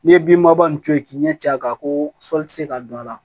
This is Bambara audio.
N'i ye bin baba nin to yen k'i ɲɛcɛ kan ko sɔli tɛ se ka don a la